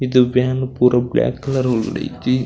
ಇದು ವ್ಯಾನ್ ಪೂರ black colour ಒಲ್ಲುಲ ಇಜ್ಜಿ --